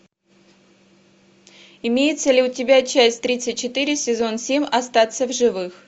имеется ли у тебя часть тридцать четыре сезон семь остаться в живых